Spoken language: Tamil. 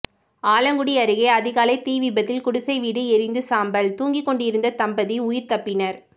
ஆலங்குடி அருகே அதிகாலை தீ விபத்தில் குடிசை வீடு எரிந்து சாம்பல் தூங்கிக்கொண்டிருந்த தம்பதி உயிர் தப்பினர்